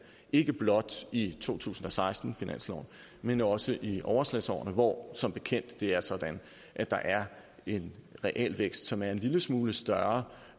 ikke blot i to tusind og seksten men også i overslagsårene hvor som bekendt er sådan at der er en realvækst som er en lille smule større